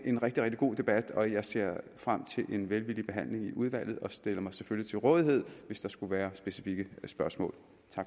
en rigtig rigtig god debat og jeg ser frem til en velvillig behandling i udvalget og stiller mig selvfølgelig til rådighed hvis der skulle være specifikke spørgsmål